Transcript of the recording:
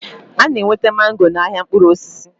Ana enweta mango na ahịa mkpụrụ osisi